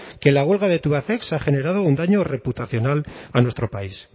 que la huelga de tubacex ha generado un daño reputacional a nuestro país